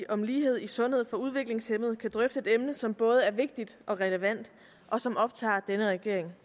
om lighed i sundhed for udviklingshæmmede kan drøfte et emne som både er vigtigt og relevant og som optager denne regering